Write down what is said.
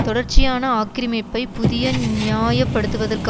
தொடர்ச்சியான ஆக்கிரமிப்பை புதிய நியாய படுத்துவதற்கு